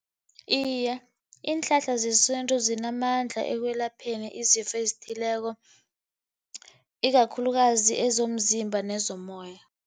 Iye, iinhlahla zesintu zinamandla ekwelapheni izifo ezithileko, ikakhulukazi kwezomzimba nezomoya.